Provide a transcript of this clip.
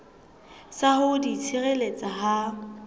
sa ho di tshireletsa ha